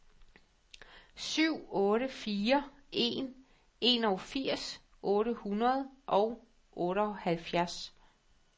syv otte fire en enogfirs otte hundrede og otteoghalvfjerds